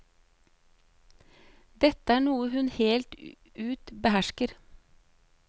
Dette er noe hun helt ut behersker.